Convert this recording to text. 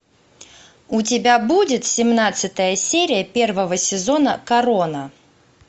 у тебя будет семнадцатая серия первого сезона корона